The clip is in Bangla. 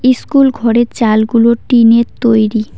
ইস্কুল ঘরের চালগুলো টিন -এর তৈরি।